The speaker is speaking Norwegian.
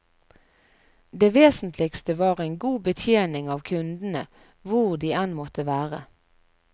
Det vesentligste var en god betjening av kundene hvor de enn måtte være.